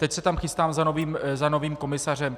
Teď se tam chystám za novým komisařem.